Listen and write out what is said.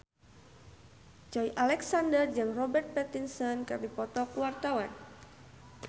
Joey Alexander jeung Robert Pattinson keur dipoto ku wartawan